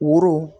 Woro